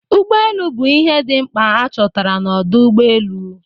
Ụgbọ elu bụ ihe dị mkpa a chọtara n'ọdo ụgbọ elu.